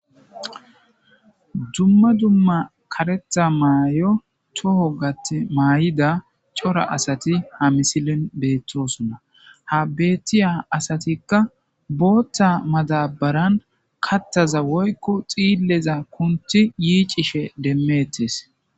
Dumma dumma karetha may7o toho gaththi may7ida cora asati ha misilen beettosonna. Ha bettiya asatikka booththa madabaran kathaza woykku xiilleza kunti yiicishe demmettes.